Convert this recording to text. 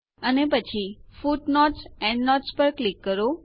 અને પછી footnotesએન્ડનોટ્સ પર ક્લિક કરો